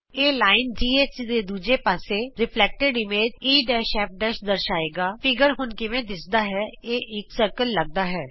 ਇਹ ਰੇਖਾ ਘ ਦੇ ਦੂਜੇ ਪਾਸੇ ਪ੍ਰਤਿਬਿੰਬਤ ਇਮੇਜ ਈਐਫ ਦਰਸਾਏਗਾਚਿੱਤਰ ਹੁਣ ਕਿਹੋ ਜਿਹਾ ਦਿੱਸਦਾ ਹੈ ਇਹ ਇਕ ਗੋਲਾ ਦਿੱਸਦਾ ਹੈ